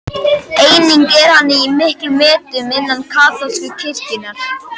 Einnig er hann í miklum metum innan kaþólsku kirkjunnar.